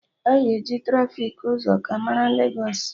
Aga e ji trafiki ụzọ ka mara Legos